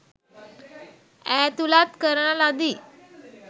ඈතුලත් කරන ලදී